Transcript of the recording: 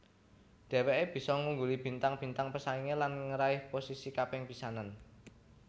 Dheweké bisa ngungguli bintang bintang pesaingé lan ngeraih posisi kaping pisanan